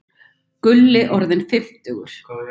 Gulli orðinn fimmtugur.